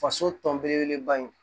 Faso tɔn belebele ba ye